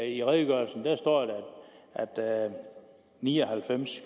i redegørelsen står der at ni og halvfems